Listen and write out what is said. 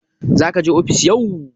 Zaka je ofis yau?